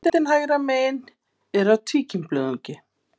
Myndin hægra megin er af tvíkímblöðungi.